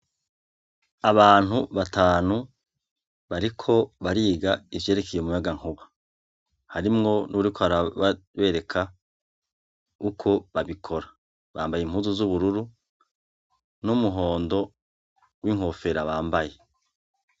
Abantu batanu bariko bariga ivyerekeye umuyagankuba, harimwo uwuriko arabereka uko babikora, bambaye impuzu z'ubururu n'umuhondo w'inkofera bambaye.